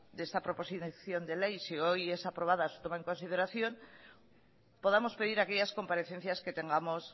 de esta proposición de ley si hoy es aprobada su toma en consideración podamos pedir aquellas comparecencias que tengamos